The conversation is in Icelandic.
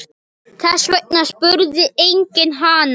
Þess vegna spurði enginn hana.